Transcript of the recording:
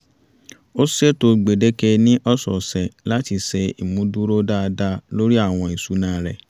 ó ṣètò gbèdéke ní ọ̀sọ̀ọ̀sẹ̀ láti ṣe ìmúdúró dáadáa lórí àwọn ìṣúná rẹ̀